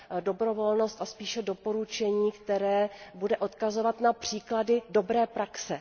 dobrovolnost a spíše doporučení, které bude odkazovat na příklady dobré praxe.